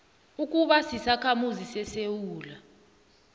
kukuba sisakhamuzi sesewula